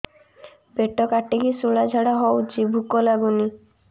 ପେଟ କାଟିକି ଶୂଳା ଝାଡ଼ା ହଉଚି ଭୁକ ଲାଗୁନି